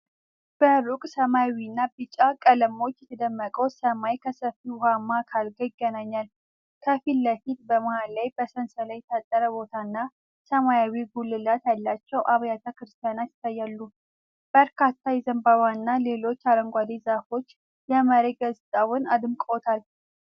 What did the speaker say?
በሩቅ ሰማያዊና ቢጫ ቀለሞች የተደመቀው ሰማይ ከሰፊ ውሃማ አካል ጋር ይገናኛል። ከፊት ለፊት፣ በመሃል ላይ በሰንሰለት የታጠረ ቦታና ሰማያዊ ጉልላት ያላቸው አብያተ ክርስቲያናት ይታያሉ። በርካታ የዘንባባና ሌሎች አረንጓዴ ዛፎች የመሬት ገጽታውን አድምቀውታል።